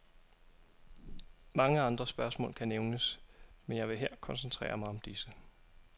Mange andre spørgsmål kan nævnes, men jeg vil her koncentrere mig om disse.